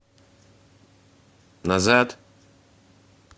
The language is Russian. назад